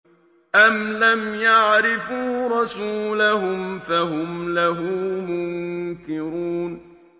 أَمْ لَمْ يَعْرِفُوا رَسُولَهُمْ فَهُمْ لَهُ مُنكِرُونَ